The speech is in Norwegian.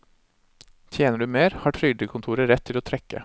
Tjener du mer, har trygdekontoret rett til å trekke.